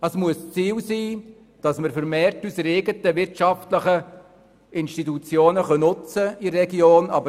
Es muss Ziel sein, dass wir in der Region vermehrt unsere eigenen wirtschaftlichen Institutionen nutzen können.